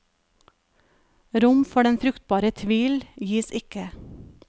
Rom for den fruktbare tvil gis ikke.